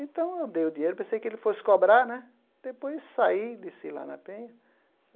Então eu dei o dinheiro, pensei que ele fosse cobrar né, depois saí, desci lá na penha.